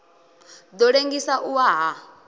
ḓo ḽengisa u wa ha